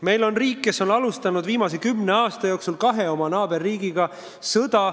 Meie kõrval on riik, kes on alustanud viimase kümne aasta jooksul sõda kahe oma naaberriigiga.